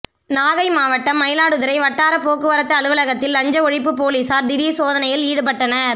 நாகை மாவட்டம் மயிலாடுதுறை வட்டார போக்குவரத்து அலுவலகத்தில் லஞ்ச ஒழிப்பு போலீசார் திடீர் சோதனையில் ஈடுபட்டனர்